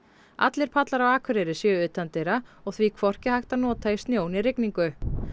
allir pallar á Akureyri séu utandyra og því hvorki hægt að nota í snjó né rigningu